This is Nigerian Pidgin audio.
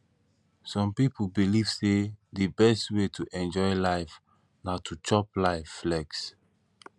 some pipo belive sey di best wey to enjoy life na to chop life flex